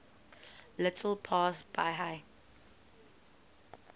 little past bahia